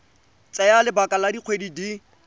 tsaya lebaka la dikgwedi di